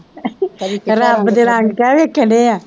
ਰੱਬ ਦੇ ਰੰਗ ਕਹਿ ਵੇਖਣ ਡੇ ਹਾਂ